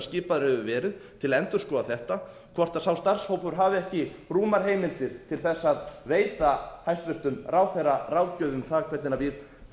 skipaður hefur verið til að endurskoða þetta hafi ekki rúmar heimildir til þess að veita hæstvirtur ráðherra ráðgjöf um það hvernig við